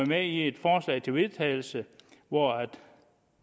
med i et forslag til vedtagelse hvor